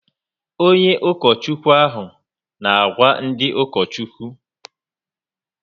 Onye ukochukwu ahụ n' àgwà ndị uka okwuchukwu